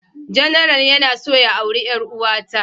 General yana so ya aure ƴaruwa ta.